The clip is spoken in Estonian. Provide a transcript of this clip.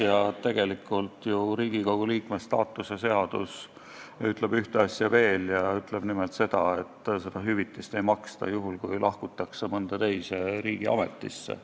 Ja tegelikult tuleb arvestada ka seda, et Riigikogu liikme staatuse seadus ütleb ka seda, et seda hüvitist ei maksta juhul, kui lahkutakse mõnda teise riigiametisse.